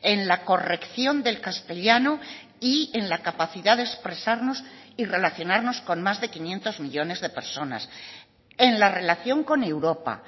en la corrección del castellano y en la capacidad de expresarnos y relacionarnos con más de quinientos millónes de personas en la relación con europa